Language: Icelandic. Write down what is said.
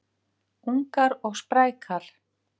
Ungar og sprækar